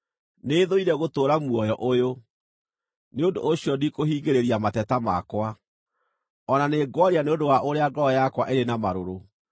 “Nĩthũire gũtũũra muoyo ũyũ; nĩ ũndũ ũcio ndikũhingĩrĩria mateta makwa, o na nĩ ngwaria nĩ ũndũ wa ũrĩa ngoro yakwa ĩrĩ na marũrũ.